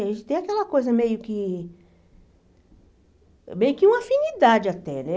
A gente tem aquela coisa meio que... meio que uma afinidade até, né?